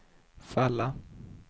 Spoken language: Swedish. falla